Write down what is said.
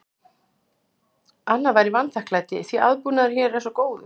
Annað væri vanþakklæti, því aðbúnaðurinn hér er svo góður.